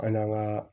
An n'an ka